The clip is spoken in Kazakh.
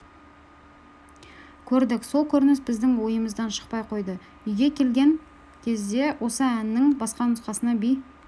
көрдік сол көрініс біздің ойымыздан шықпай қойды үйге келген кезде осы әннің басқа нұсқасына би